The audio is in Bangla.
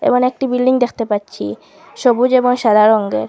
এবং একটি বিল্ডিং দেকতে পাচ্চি সবুজ এবং সাদা রংগের।